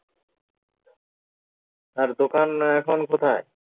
তার দোকান এখন কোথায়